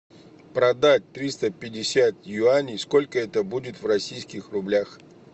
продать триста пятьдесят юаней сколько это будет в российских рублях